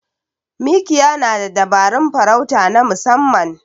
Mikiya na da dabarun farauta na musamman.